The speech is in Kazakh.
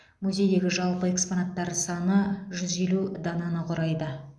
музейдегі жалпы экспонаттар саны жүз елу дананы құрайды